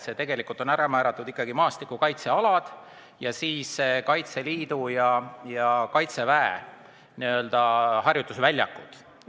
Need on ikkagi ära määratud maastikukaitsealad ja siis Kaitseliidu ja Kaitseväe harjutusväljakud.